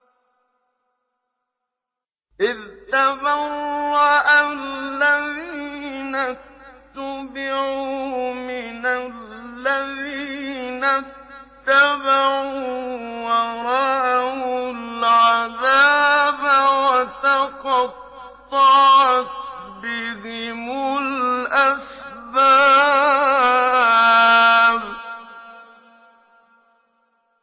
إِذْ تَبَرَّأَ الَّذِينَ اتُّبِعُوا مِنَ الَّذِينَ اتَّبَعُوا وَرَأَوُا الْعَذَابَ وَتَقَطَّعَتْ بِهِمُ الْأَسْبَابُ